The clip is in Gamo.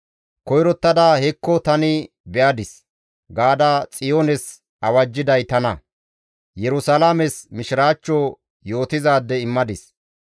Koyrottada, ‹Hekko tani be7adis› gaada Xiyoones awajjiday tana; Yerusalaames mishiraachcho yootizaade immadis.